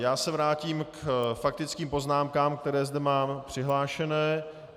Já se vrátím k faktickým poznámkám, které zde mám přihlášené.